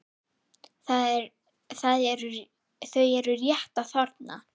Þau eru rétt að þorna!